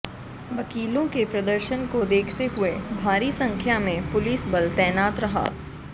वकीलों के प्रदर्शन को देखते हुए भारी संख्या में पुलिस बल तैनात रहा